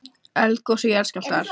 Eldgos og jarðskjálftar.